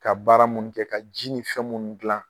Ka baara mun kɛ ka ji ni fɛn munnu dilan